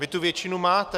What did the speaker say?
Vy tu většinu máte.